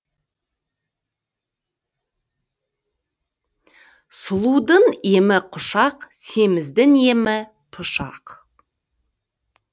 сұлудың емі құшақ семіздің емі пышақ